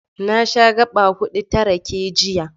Na sha gaɓa huɗu ta rake, jiya.